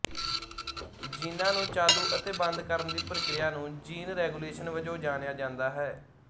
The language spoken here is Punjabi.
ਜੀਨਾਂ ਨੂੰ ਚਾਲੂ ਅਤੇ ਬੰਦ ਕਰਨ ਦੀ ਪ੍ਰਕਿਰਿਆ ਨੂੰ ਜੀਨ ਰੈਗੂਲੇਸ਼ਨ ਵਜੋਂ ਜਾਣਿਆ ਜਾਂਦਾ ਹੈ